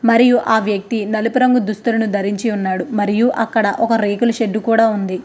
మరియు ఆ వ్యక్తి నలుపు రంగు దుస్తువులను ధరించి ఉన్నాడు మరియు అక్కడ ఒక రేకుల షెడ్డు కూడా ఉంది.